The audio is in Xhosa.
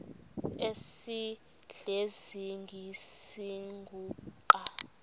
esidl eziny iziguqa